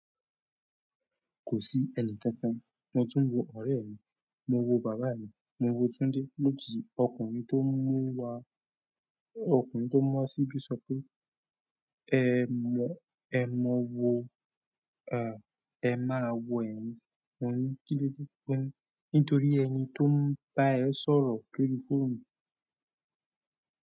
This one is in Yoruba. Kò sí ẹnì kankan. Mo tún ń wo ọ̀rẹ́ mi, mo wo bàbá mi, mo wo Tunde. Lójijì ọkùnrin tó n mú wa, ọkùnrin tó mú wa síbi sọ pé "Ẹ mọ, ẹ mọ wo, ẹm ẹ máa wo ẹ̀mí." mo ní kín ló dé mo n nítorí ẹni tó ń bá ẹ sọ̀rọ̀ lórí fóònù.